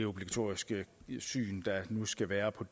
obligatoriske syn der nu skal være på